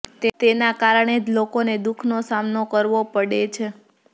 તેના કારણે જ લોકોને દુઃખનો સામનો કરવો પડે છે